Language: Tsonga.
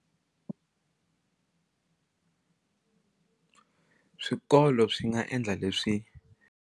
Swikolo swi nga endla leswi.